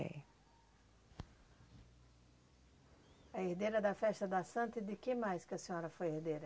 É. A herdeira da festa da Santa e de que mais que a senhora foi herdeira?